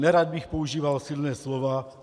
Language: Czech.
Nerad bych používal silná slova.